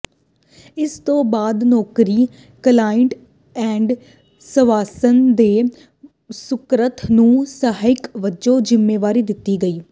ਇਸ ਤੋਂ ਬਾਅਦ ਨੌਕਰੀ ਕਲਾਇਡ ਏ ਸਵਾਸਨ ਦੇ ਸਕੱਤਰ ਨੂੰ ਸਹਾਇਕ ਵਜੋਂ ਜ਼ਿੰਮੇਵਾਰੀ ਦਿੱਤੀ ਗਈ